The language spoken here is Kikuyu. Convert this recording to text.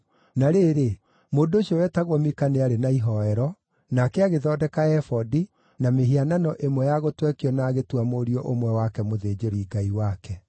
Na rĩrĩ, mũndũ ũcio wetagwo Mika nĩ aarĩ na ihooero, nake agĩthondeka ebodi, na mĩhianano ĩmwe ya gũtwekio na agĩtua mũriũ ũmwe wake mũthĩnjĩri-ngai wake.